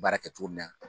Baara kɛ cogo min na